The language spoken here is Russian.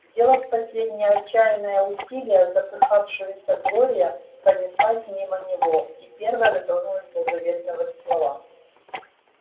сделав последнее отчаянное усилие запыхавшаяся глория пронеслась мимо него и первая дотронулась до заветного ствола